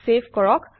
save কৰক